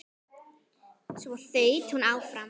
Svo þaut hún áfram.